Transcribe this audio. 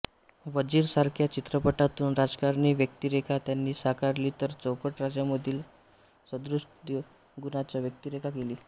वजीर सारख्या चित्रपटातून राजकारणी व्यक्तिरेखा त्यांनी साकारली तर चौकट राजामधील सहृदय गुणाच्या व्यक्तिरेखा केली